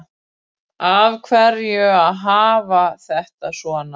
Af hverju að hafa þetta svona